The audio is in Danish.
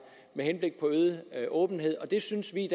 med henblik på øget åbenhed det synes vi